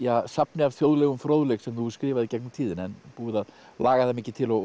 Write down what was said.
safni af þjóðlegum fróðleik sem þú hefur skrifað í gegnum tíðina en búið að laga það mikið til og